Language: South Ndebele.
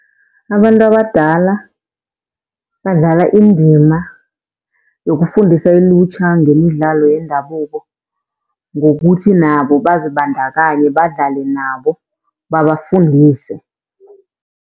Abantu abadala badlala indima yokufundisa ilutjha ngemidlalo yendabuko, ngokuthi nabo bazibandakanye badlale nabo babafundise.